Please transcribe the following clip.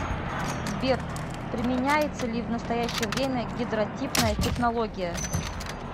сбер применяется ли в настоящее время гидротипная технология